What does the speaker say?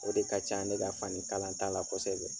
O de ka can ne ka fani kalanta la kosɛbɛ.